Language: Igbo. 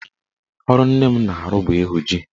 Ọrụ nne m na-arụ bụ ịhụ ji.